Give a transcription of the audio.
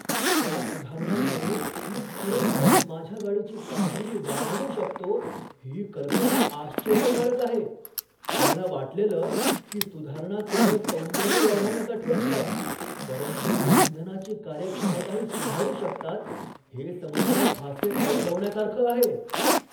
त्या सुधारणांमुळे मी खरोखरच माझ्या गाडीची कामगिरी वाढवू शकतो ही कल्पना आश्चर्यकारक आहे. मला वाटलेलं की सुधारणा केवळ सौंदर्य वाढवण्यासाठी असतात, परंतु ते इंधनाची कार्यक्षमताही सुधारू शकतात हे समजणं फासे पलटवण्यासारखं आहे.